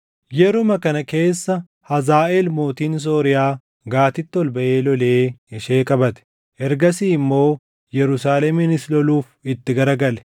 Yeruma kana keessa Hazaaʼeel mootiin Sooriyaa Gaatitti ol baʼee lolee ishee qabate. Ergasii immoo Yerusaaleminis loluuf itti gara gale.